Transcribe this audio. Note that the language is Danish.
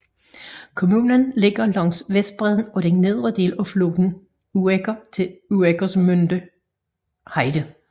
Kommunen ligger langs vestbredden af den nedre del af floden Uecker til Ueckermünder Heide